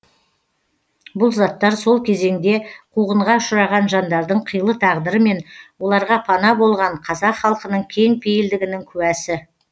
бұл заттар сол кезеңде қуғынға ұшыраған жандардың қилы тағдыры мен оларға пана болған қазақ халқының кең пейілдігінің куәсі